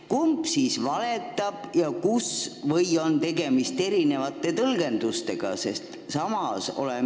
Kumb siis valetab ja kus, või on tegemist erinevate tõlgendustega?